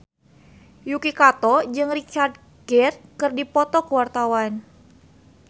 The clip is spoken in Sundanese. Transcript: Yuki Kato jeung Richard Gere keur dipoto ku wartawan